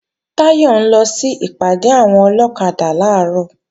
Táyọ̀ ń lọ sí ìpàdé àwọn ọlọ́kadà làárọ̀